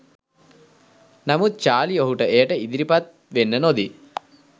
නමුත් චාලි ඔහුට එයට ඉදිරිපත් වෙන්න නොදී